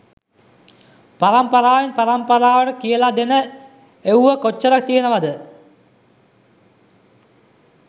පරම්පරාවෙන් පරම්පරාවට කියල දෙන එව්ව කොච්චර තියනවද?